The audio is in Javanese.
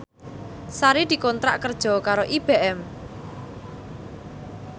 Sari dikontrak kerja karo IBM